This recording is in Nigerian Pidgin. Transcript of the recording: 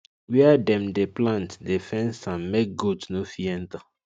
where dem dey plant dey fence am make goat no fit enter